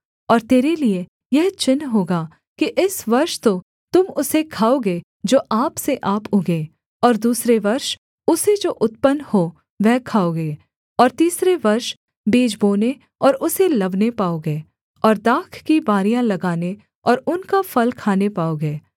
और तेरे लिये यह चिन्ह होगा कि इस वर्ष तो तुम उसे खाओगे जो आप से आप उगें और दूसरे वर्ष उसे जो उत्पन्न हो वह खाओगे और तीसरे वर्ष बीज बोने और उसे लवने पाओगे और दाख की बारियाँ लगाने और उनका फल खाने पाओगे